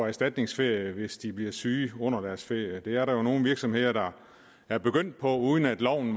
erstatningsferie hvis de bliver syge under deres ferie det er der nogle virksomheder der er begyndt på uden at loven